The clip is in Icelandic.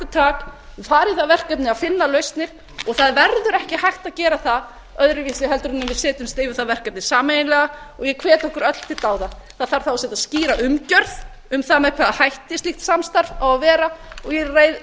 í það verkefni að finna lausnir það verður ekki hægt að gera það öðruvísi heldur en við setjumst yfir það verkefni sameiginlega ég hvet okkur öll til dáða það þarf þá að setja skýra umgjörð um það með hvaða hætti slíkt samstarf á að vera ég